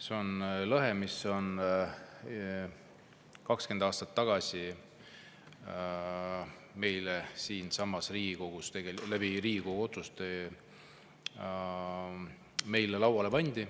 See on lõhe, mis 20 aastat tagasi meile siinsamas Riigikogu otsuse kohaselt lauale pandi.